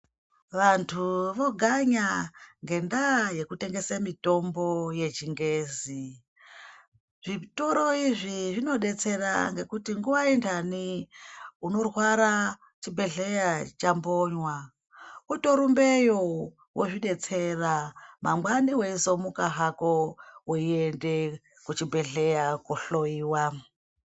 Vantu voganya ngendaya yekutengese mitombo yechingezi zvitoro izvi zvinobetsera ngekuti nguva ngendane unorwara chibhedhleya chambonwa utorumbeyo wozvibetseya wangwani wezomuka hako uende kuchibhedhleya kohloyiwa